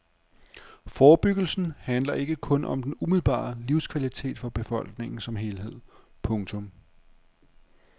Forebyggelsen handler ikke kun om den umiddelbare livskvalitet for befolkningen som helhed. punktum